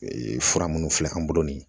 Ee fura minnu filɛ an bolo nin